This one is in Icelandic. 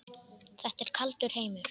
Þetta er kaldur heimur.